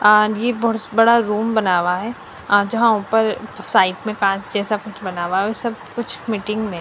आगी ब बहुत बड़ा रूम बनावा है आ जहां ऊपर साइड में कांच जैसा कुछ बनावा है वो सब कुछ मीटिंग में --